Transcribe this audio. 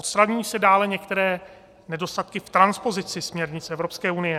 Odstraňují se dále některé nedostatky v transpozici směrnic Evropské unie.